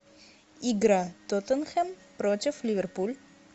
игра тоттенхэм против ливерпуль